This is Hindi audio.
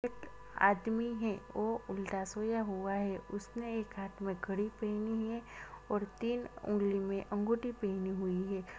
एक आदमी हैवो उल्टा सोया हुआ हैउसने एक हाथ मे घड़ी पहनी है और तीन उंगली मे अंगूठी पहनी हुई हैं।